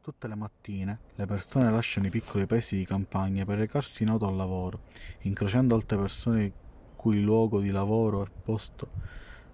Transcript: tutte le mattine le persone lasciano i piccoli paesi di campagna per recarsi in auto al lavoro incrociando altre persone il cui luogo di lavoro è il posto